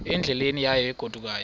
endleleni yayo egodukayo